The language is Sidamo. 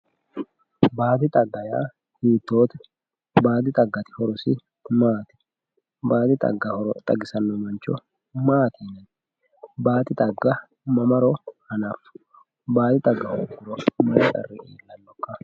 baadi xagga yaa hiittoote baadi xagga yaa horose maati baadi xagga xagisanno mancho maati yinay baadi xagga mamaro hanaffewo baadi xagga horoonsi'niro may qarri heerannokka.